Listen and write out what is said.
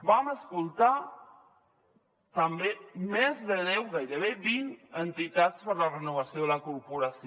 vam escoltar també més de deu gairebé vint entitats per a la renovació de la corporació